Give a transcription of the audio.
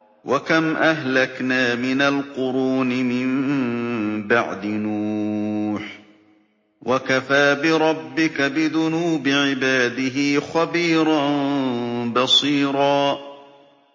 وَكَمْ أَهْلَكْنَا مِنَ الْقُرُونِ مِن بَعْدِ نُوحٍ ۗ وَكَفَىٰ بِرَبِّكَ بِذُنُوبِ عِبَادِهِ خَبِيرًا بَصِيرًا